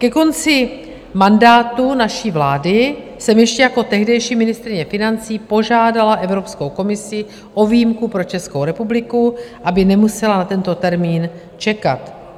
Ke konci mandátu naší vlády jsem ještě jako tehdejší ministryně financí požádala Evropskou komisi o výjimku pro Českou republiku, aby nemusela na tento termín čekat.